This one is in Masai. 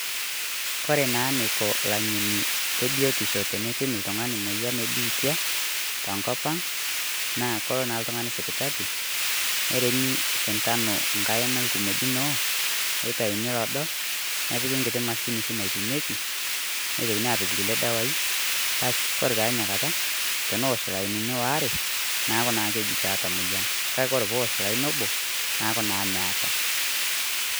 Kore naa neiko laing'eni le biotisho teneipim ltung'ani moyian e biitia to nkopang , naa koloo naa ltung'ani sipitali neeremi sitanoo nkaina e lkimojinoo netaini loodo nepikii nkitii mashiin sii napikekei neitokini apiik kulee ldewai. Baasi kore taa enia kaata teneosh lainini oware neeku naa keji keeta moyian. Kaki kore pee oosh laini oboo naaku naa mieta.